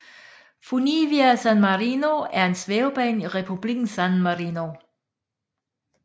Funivia San Marino er en svævebane i republiken San Marino